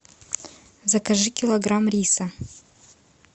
закажи килограмм риса